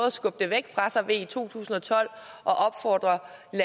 at skubbe det væk fra sig ved i to tusind og tolv